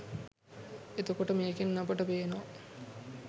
එතකොට මේකෙන් අපට පේනවා